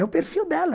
É o perfil dela.